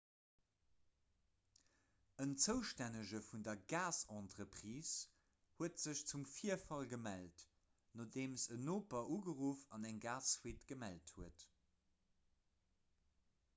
en zoustännege vun der gasentreprise huet sech zum virfall gemellt nodeem en noper ugeruff an eng gasfuite gemellt huet